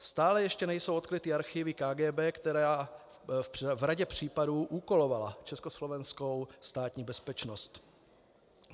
Stále ještě nejsou odkryty archivy KGB, která v řadě případů úkolovala československou Státní bezpečnost.